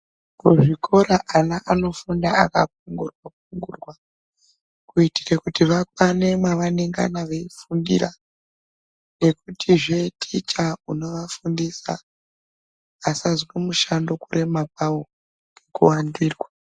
Kuzvikora ana anofunda akagurwa gurwa kuitira kuti vakwane mavanengana veifundira nekutihe ticha unovafundisa asazwe mushando kurwma kwawo nekuwandirwa.